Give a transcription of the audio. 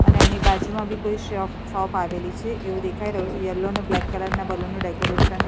અને એની બાજુમાં બી કોઈ શોપ શોપ આવેલી છે એવું દેખાઈ રહ્યું છે યલો અને બ્લેક કલર ના બલૂન નું ડેકોરેશન --